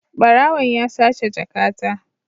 Barawon ya sace jakata.